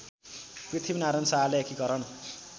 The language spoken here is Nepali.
पृथ्वीनारायण शाहले एकीकरण